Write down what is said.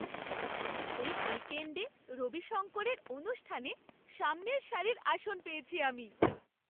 এই উইকেণ্ডে রবি শঙ্করের অনুষ্ঠানে সামনের সারির আসন পেয়েছি আমি!